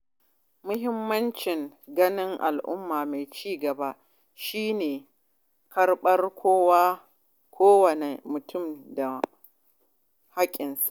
Muhimmin ginshiƙin al’umma mai ci gaba shine karɓar kowa da mutunta hakkin sa.